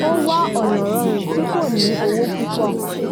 ó wá ọ̀nà rọrùn tí kò ní owó púpọ̀